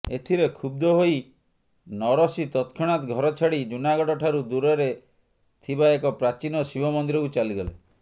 ଏଥିରେ କ୍ଷୁବ୍ଧ ହୋଇ ନରସି ତତ୍କ୍ଷଣାତ୍ ଘରଛାଡି ଜୁନାଗଡ଼ ଠାରୁ ଦୂରରେ ଥିବାଏକ ପ୍ରାଚୀନ ଶିବ ମନ୍ଦିରକୁ ଚାଲିଗଲେ